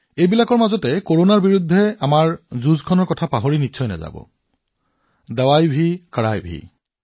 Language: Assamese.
এই সকলোবোৰৰ মাজতো আপোনালোকে কৰোনাৰ যুদ্ধৰ মন্ত্ৰটো মনত ৰাখিব লাগিব ঔষধো কঠোৰতাও